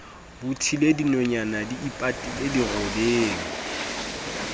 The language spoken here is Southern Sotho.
bothile dinonyana di ipatile dirobeng